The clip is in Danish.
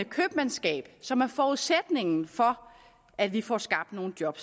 købmandskab som er forudsætningen for at vi får skabt nogle job